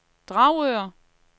Dragør